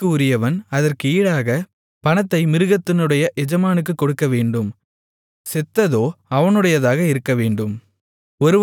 குழிக்கு உரியவன் அதற்கு ஈடாகப் பணத்தை மிருகத்தினுடைய எஜமானுக்குக் கொடுக்கவேண்டும் செத்ததோ அவனுடையதாகவேண்டும்